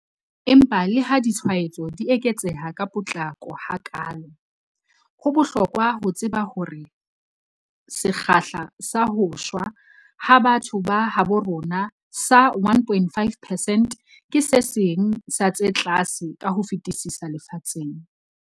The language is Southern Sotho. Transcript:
Empa leha ditshwaetso di eketseha ka potlako hakaalo, ho bohlokwa ho tseba hore sekgahla sa ho shwa ha batho ba habo rona sa 1.5 percent ke se seng sa tse tlase ka ho fetisisa lefatsheng.